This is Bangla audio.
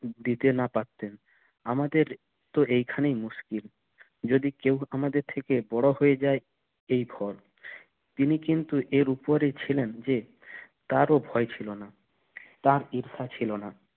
দিতে না পারতেন আমাদের তো এইখানেই মুশকিল যদি আমাদের থেকে বড় হয়ে যায় এই ভয় তিনি কিন্তু এর উপরেই ছিলেন যে তার ও ভয় ছিল না তার ঈর্ষা ছিল না